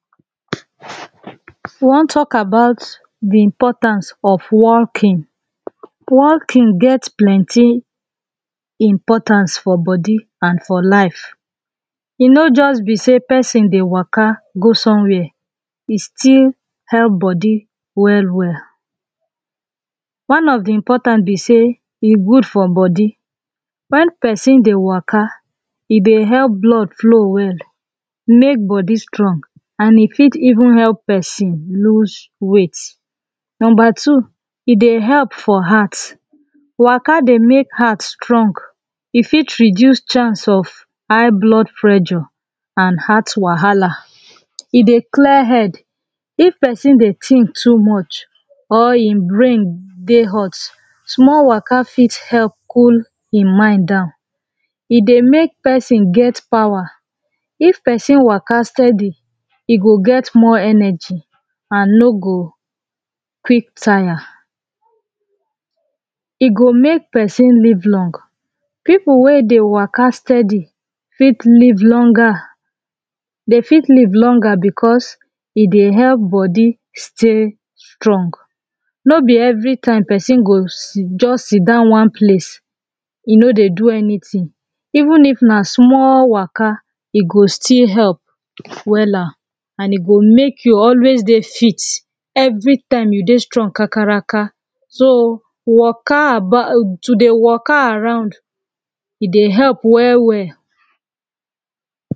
we wan talk about the importance of walking. walking get plenty importance for body an for life. e no just be sey person dey waka go somewhere e still help body well well one of the important be sey e good for body. when person dey waka e dey help blood flow well make body strong and e fit even help person lose weight. no 2 e dey help for heart waka dey make heart strong e fit reduce chance of high blood pressure an heart wahala e dey clear head. if person dey think too much or him brain dey hot, small waka fit help cool him mind down e dey make person get power. if person waka steady, e go get more energy an no go quick tire. e go make person live long. people wey dey waka steady fit live longer they fit live longer because, e dey help body stay strong. no be everytime person go just sidon one place e no dey do anything. even if na small waka e go still help wella an e go make you alway dey fit everytime you dey strong kakaraka so waka about to the waka around, e dey help well well